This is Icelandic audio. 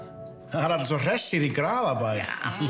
það eru allir svo hressir í Graðabæ eða